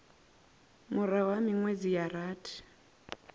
murahu ha minwedzi ya rathi